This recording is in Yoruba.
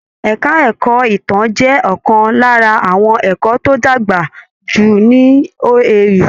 Ẹka ẹ̀kọ́ ìtàn jẹ́ ọ̀kan lára àwọn ẹka tó dàgbà jù ní OAU.